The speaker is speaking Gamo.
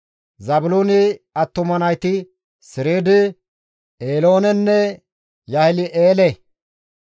Zaabiloone attuma nayti Sereede, Eeloonenne Yaahile7eele.